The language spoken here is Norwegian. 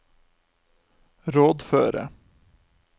rådføre